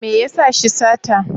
Me ya sa shi sata?